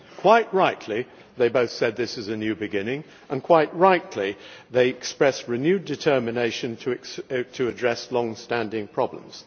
Quite rightly they both said this is a new beginning, and quite rightly they expressed renewed determination to address longstanding problems.